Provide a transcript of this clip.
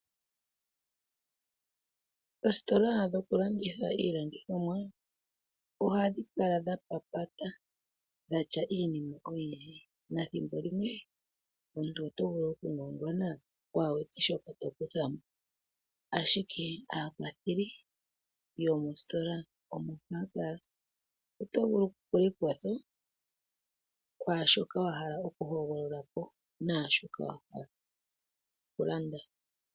Oositola dhokulanditha iilandithomwa ohadhi kala dha papata dhatya iinima oyindji na ethimbolimwe omuntu otovulu oku ngwangwana waa wete shoka tokuthamo ashike aakwatheli yomositola omo haya kala. Otovulu okupula ekwatho kwaashoka wahala okuhogololapo naashoka wahala okulanda.